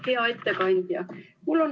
Hea ettekandja!